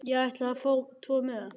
Ég ætla að fá tvo miða.